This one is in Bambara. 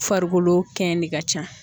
Farikolo kɛn de ka can.